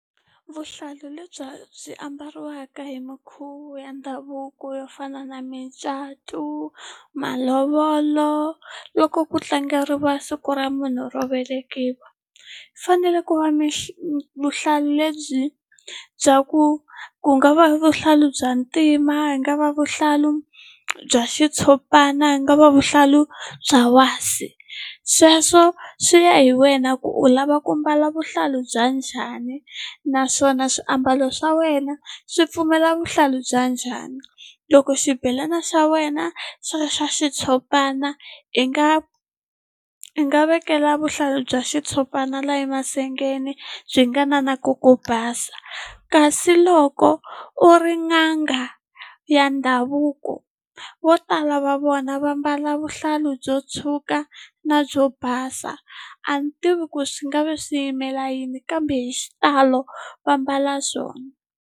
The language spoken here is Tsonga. Vuhlalu lebya byi ambariwaka hi minkhuvo ya ndhavuko yo fana na micato malovolo loko ku tlangeriwa siku ra munhu ro velekiwa u fanele ku va vuhlalu lebyi bya ku ku nga va vuhlalu bya ntima ku nga va vuhlalu bya xitshopana ku nga va vuhlalu bya wasi sweswo swi ya hi wena ku u lava ku mbala vuhlalu bya njhani naswona swiambalo swa wena swi pfumela vuhlalu bya njhani loko xibelana xa wena xi ri swa xitshopana i nga i nga vekela vuhlayi bya xitshopana la emasengeni byi nga na na ku ku basa kasi loko u ri n'anga ya ndhavuko vo tala va vona va mbala vuhlalu byo tshwuka na byo basa a ni tivi ku swi nga vi swi yimela yini kambe hi xitalo va mbala swona.